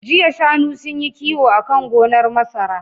Jiya shanu sunyi kiwo akan gonar masara